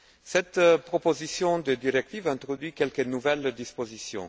Cette proposition de directive introduit quelques nouvelles dispositions.